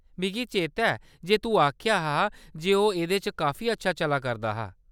मिगी चेता ऐ जे तूं आखेआ हा जे ओह्‌‌ एह्‌‌‌दे च काफी अच्छा चला करदा हा।